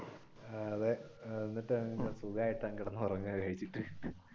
ആഹ് അതെ എന്നിട്ട് സുഖമായിട്ട് കിടന്ന് ഉറങ്ങുക കഴിച്ചിട്ട്